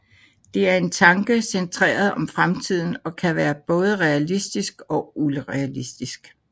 Det er en tanke centreret om fremtiden og kan være både realistisk og urealistisk